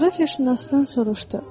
Coğrafiyaşünasdan soruşdu.